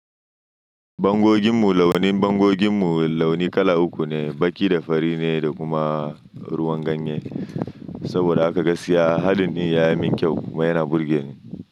Bangoginmu launin, bangoginmu launi kala uku ne, baƙi da fari ne da kuma ruwan ganye. Saboda haka gaskiya, halin din ya yi min kyau kuma yana burge ni.